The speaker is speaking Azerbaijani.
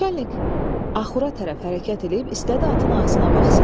Naçalnik axura tərəf hərəkət eləyib istədi atın ağzına baxsın.